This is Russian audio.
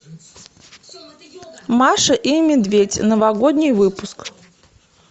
маша и медведь новогодний выпуск